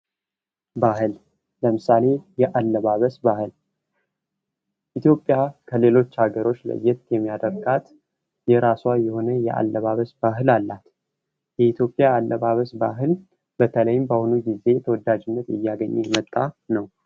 ባህል ለምሳሌ ያለባበስ ባህል የኢትዮጵያ ከሌሎች አገሮች ለየት የሚያደርጋት የራሷ የሆነ የአለባበስ ባህል አላት ። የኢትዮጵያ ያለባበስ ባህል በተለይም በአሁኑ ጊዜ ተወዳጅነትን እያገኘ የመጣ ነው ።